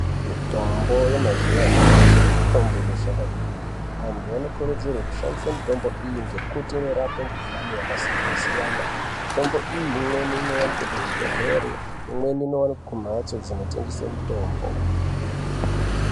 Mitombo yemazuwa anyamashi mitombo inoshanda kwemene antu anokurudzirwe kushandise mitombo iyi ngekuti inorape mukhuhlane yakasiyana siyana , mitombo iyi imweni inowanikwe kuzvibhedhlere, imweni inowanikwe kumhatso dzinotengese mitombo.